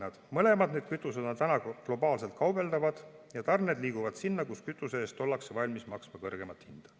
Need mõlemad kütused on globaalselt kaubeldavad ja tarned liiguvad sinna, kus kütuse eest ollakse valmis maksma kõrgemat hinda.